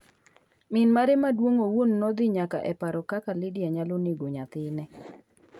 Min mare maduong’ owuon nodhi nyaka e paro kaka Lydia nyalo nego nyathine.